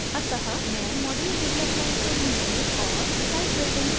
अत: मैं module development को नीचे और site building को ऊपर कर रही हूँ